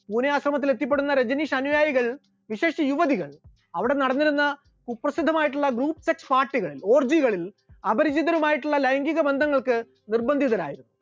പൂനെ ആശ്രമത്തിൽ എത്തിപ്പെടുന്ന രജനീഷ് അനുയായികൾ വിശേഷിച്ച് യുവതികൾ അവിടെ നടന്നിരുന്ന കുപ്രസിദ്ധമായിരുന്ന group sex party കളിൽ ഒർജികളിൽ അപരിചിതരുമായിട്ടുള്ള ലൈംഗീകബന്ധങ്ങൾക്ക് നിർബന്ധിതരായി